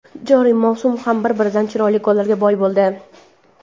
Joriy mavsum ham bir-biridan chiroyli gollarga boy bo‘ldi.